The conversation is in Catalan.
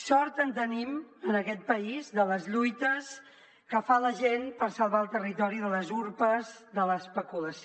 sort en tenim en aquest país de les lluites que fa la gent per salvar el territori de les urpes de l’especulació